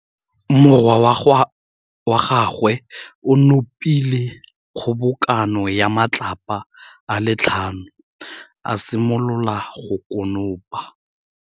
Morwa wa gagwe o nopile kgobokanô ya matlapa a le tlhano, a simolola go konopa.